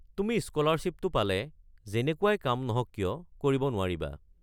তুমি স্ক’লাৰশ্বিপটো পালে যেনেকুৱাই কাম নহওক কিয় কৰিব নোৱাৰিবা।